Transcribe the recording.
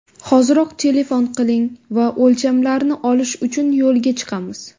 Hoziroq telefon qiling va o‘lchamlarni olish uchun yo‘lga chiqamiz.